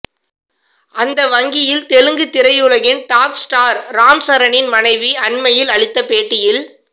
அந்த வங்கியில் தெலுங்கு திரையுலகின் டாப் ஸ்டார் ராம் சரணின் மனைவி அண்மையில் அளித்த பேட்டியில்